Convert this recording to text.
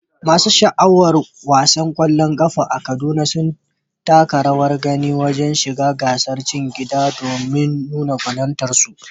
Masu sha'awar wasan ƙwallon ƙafa a Kaduna sun taka rawar gani wajen shiga gasar cikin gida domin nuna ƙwarewarsu.